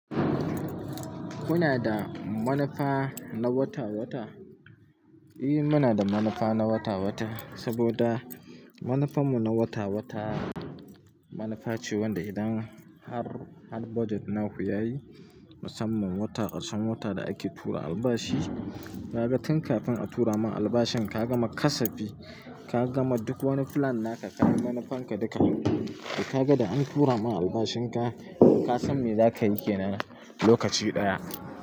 Kuna da manufa na wata-wata? Eh muna da manufa na wata-wata saboda manufar mu na wata-wata, manufa ce wanda idan har, har budget naku yayi, musamman wata ƙasan wata da ake tura albashi, kaga tun kafin a tura ma albashin ka gama kasafi, ka gama duk wani plan naka kai manufanka duka. Da kaga an tura ma albashin ka, ka san me za ka yi ke lokaci ɗaya.